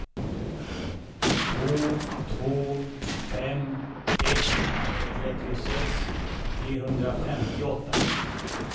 två två fem ett trettiosex trehundrafemtioåtta